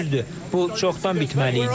Düzdür, bu çoxdan bitməli idi.